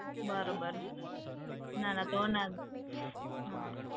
બરોબર, ના ના તો ના